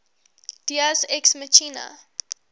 deus ex machina